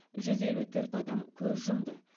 жүз елу төрт адам көз жұмды